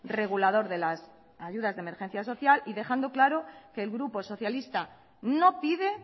regulador de las ayudas de emergencia social y dejando claro que el grupo socialista no pide